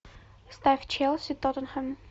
ставь челси тоттенхэм